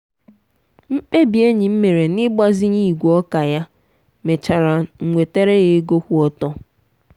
mkpebi enyi m mere na igbazinye igwe ọka ya mechara n'wetaara ya ego kwụ ọtọ.